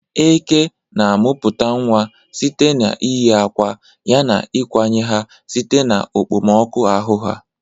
Eke na-amụpụta nwa site n'iyi akwa ya na ịkwanye ha site na okpomọkụ ahụ ha.